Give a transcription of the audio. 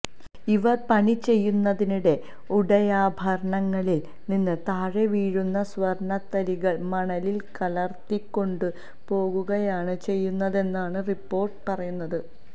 ഇവര് പണി ചെയ്യുന്നതിനിടെ ഉടയാഭരണങ്ങളില് നിന്ന് താഴെ വീഴുന്ന സ്വര്ണതരികള് മണലില് കലര്ത്തിക്കൊണ്ടുപോകുകയാണ് ചെയ്യുന്നതെന്നാണ് റിപ്പോര്ട്ട് പറയുന്നത്